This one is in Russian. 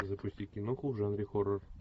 запусти киноху в жанре хоррор